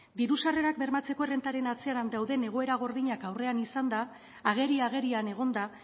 diru sarrerak bermatzearen errentaren atzean dauden egoera gordinak aurrean izanda ageri agerian egon da